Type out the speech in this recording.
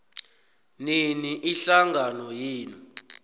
nini ihlangano yenu